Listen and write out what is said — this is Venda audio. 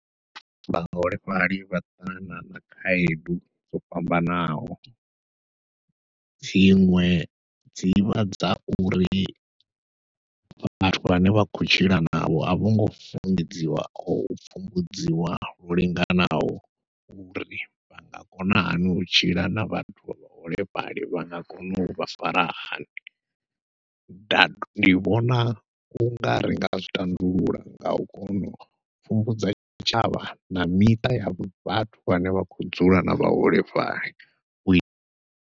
Vhaholefhali vha ṱangana na khaedu dzo fhambanaho, dziṅwe dzivha dza uri vhathu vhane vha khou tshila navho a vhongo funḓedziwa o u pfhumbudziwa ho linganaho uri vha nga kona hani u tshila na vhathu vha vhaholefhali vha nga kona uvha fara hani. ndi vhona ungari ringa zwi tandulula ngau kona u pfhumbudza tshavha na miṱa ya vhathu vhane vha khou dzula na vhaholefhali u i.